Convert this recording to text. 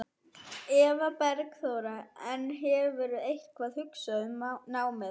Eva Bergþóra: En hefurðu eitthvað hugsað um námið?